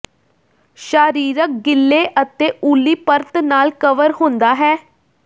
ਸ਼ਾਰੀਰਕ ਗਿੱਲੇ ਅਤੇ ਉੱਲੀ ਪਰਤ ਨਾਲ ਕਵਰ ਹੁੰਦਾ ਹੈ